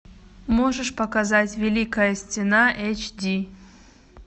можешь показать великая стена эйч ди